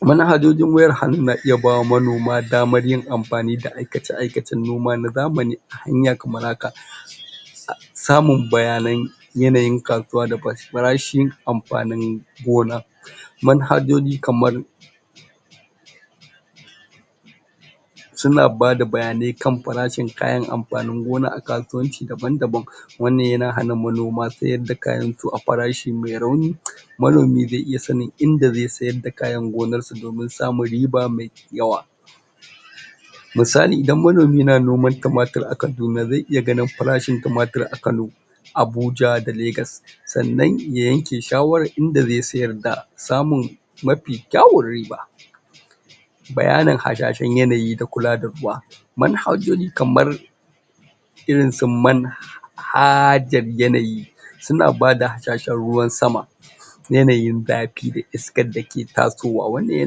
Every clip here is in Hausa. Manhajojin wayar hannu na iya bawa manoma damar yin amfani da aikace-aikacen noma na zamani a hanya kamar haka: Samun bayanai, yanayin kasuwa da farashin amfanin gona, manhajoji kamar su na bada bayanai kan farashin kayan amfanin gona a kasuwaci daban-daban wannan ya na hana manoma sayarda kayansu akan farashi mai rauni manomi zai iya sanin inda zai iya sayar da kayan gonarsa domin samun riba mai yawa, misali: Idan manomi na noman tumatir a Kaduna zai iya ganin farashin tumatir a Kano, Abuja da Lagos, sannan ya yanke shawarar inda zai sayar da samun mafi kyawun riba. Bayanin hasashen yanayi da kula da ruwa manhajoji kamar irin su manhajar yanayi su na bada hasashen ruwan sama, yanayin zafi da iskar da ke tasowa, wannan ya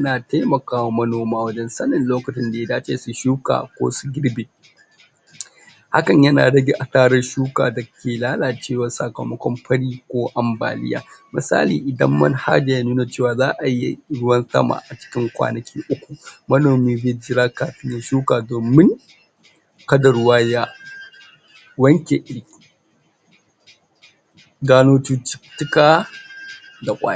na taimakawa manoma wajen sanin lokutan da ya dace suyi shuka ko su girbi, hakan ya na rage asarar shuka da ke lalacewa sakamakon fari ko ambaliya, misali: Idan manhaja ya nuna ce wa za'ayi ruwan sama a cikin kwanaki uku manomi zai jira kafin ya shuka domin kada ruwa ya wanke iri, gano cututtuka da ƙwari.